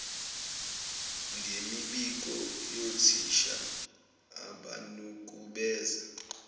ngemibiko yothisha abanukubeza